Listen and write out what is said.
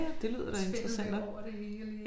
Spindelvæv over det hele i